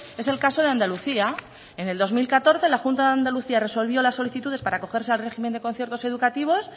es el caso de andalucía en el dos mil catorce la junta de andalucía resolvió las solicitudes para cogerse al régimen de conciertos educativos